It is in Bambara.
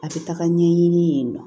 A bɛ taga ɲɛɲini yen nɔ